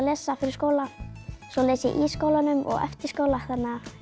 lesa fyrir skóla svo les ég í skólanum og eftir skóla þannig að